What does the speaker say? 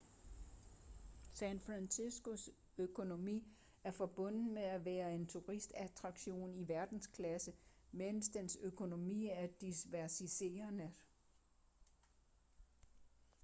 san franciscos økonomi er forbundet med at være en turistattraktion i verdensklasse mens dens økonomi er diversificeret